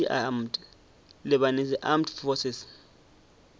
lebanese armed forces